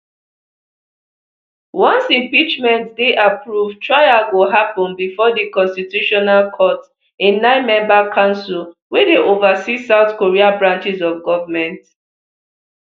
once impeachment dey approved trial go happen bifor di constitutional court a ninemember council wey dey oversees south korea branches of government